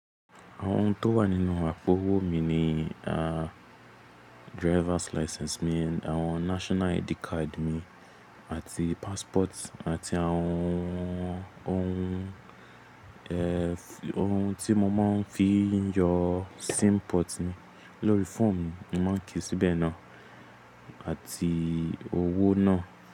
Àwọn ohun tó wà nínú àpò owó mi ni, driver's license mi àti àwọn national ID card mi àti passport àti àwọn ohun, ohun tí mo máa ń fi yọ sim port mi lórí fóòmù mi máa ń kíì síbẹ̀ náà àti owó náà.